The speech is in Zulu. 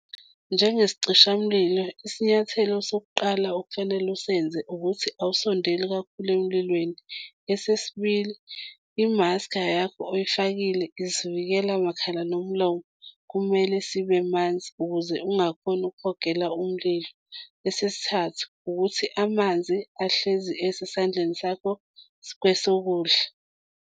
Njengesicishamlilo, isinyathelo sokuqala okufanele usenze ukuthi awusondeli kakhulu emlilweni, esesibili, i-mask-a yakho oyifakile, isivikela makhala nomlomo kumele sibe manzi ukuze ungakhoni ukuhogela umlilo, esesithathu, ukuthi amanzi ahlezi esesandleni sakho kwesokudla.